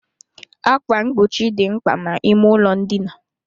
Ákwà mgbochi dị mkpa n'ime ụlọ ndina.